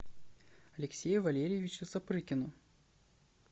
алексею валерьевичу сапрыкину